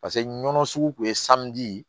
Paseke nɔnɔ sugu kun ye ye